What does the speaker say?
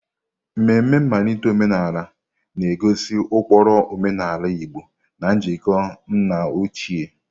Ememe nmalite omenala na-egosi ụkpụrụ omenala Igbo na njikọ nna ochie.